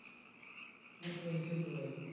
সেটোই সেটোই